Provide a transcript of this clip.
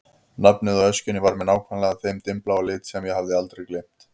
Nafnið á öskjunni var með nákvæmlega þeim dimmbláa lit sem ég hafði aldrei gleymt.